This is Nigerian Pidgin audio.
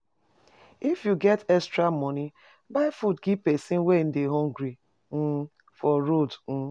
If you get extra money, buy food give person wey dey hungry um for road. um